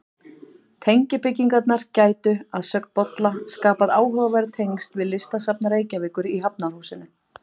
Tengibyggingarnar gætu, að sögn Bolla, skapað áhugaverð tengsl við Listasafn Reykjavíkur í Hafnarhúsinu.